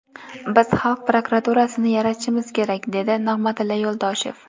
Biz xalq prokuraturasini yaratishimiz kerak”, dedi Nig‘matilla Yo‘ldoshev.